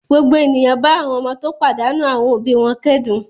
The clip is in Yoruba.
Gbogbo ènìyàn bá àwọn ọmọ tó pàdánù àwọn òbí wọn kẹ́dùn.